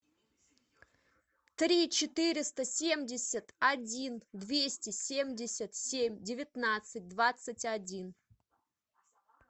три четыреста семьдесят один двести семьдесят семь девятнадцать двадцать один